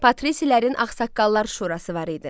Patrisilərin ağsaqqallar şurası var idi.